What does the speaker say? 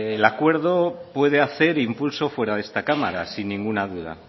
el acuerdo puede hacer impulso fuera de esta cámara sin ninguna duda